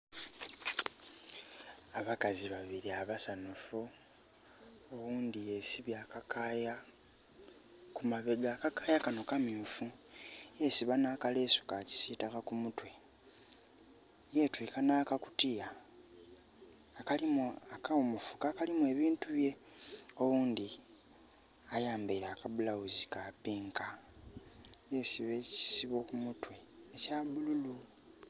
Abakazi babili abasanhufu, oghundi yesibye akakaaya kumabega. Akakaaya kano kamyuufu. Yesiba n'akaleesu ka kisiitaka ku mutwe. Yetwiika n'akakutiya, akawumufu akalimu ebintu bye. Oghundhi ayambaile aka blouse ka pink. Yesiba ekisibo ku mutwe ekya bululu.